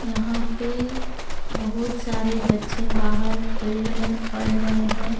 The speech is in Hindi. यहां पे बहुत सारे बच्चे बाहर फील्ड में पढ़ रहे हैं।